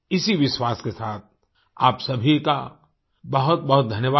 इसी विश्वास के साथ आप सभी का बहुतबहुत धन्यवाद